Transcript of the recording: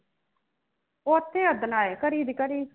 ਉਥੇ ਉੱਦਣ ਆਏ ਘੜੀ ਦੀ ਘੜੀ